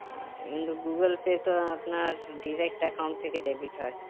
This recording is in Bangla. আচ্ছা কিন্তু google pay তো আপনার direct account থেকে debit হয়